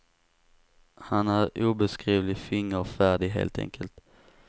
Han är obeskrivligt fingerfärdig, helt enkelt.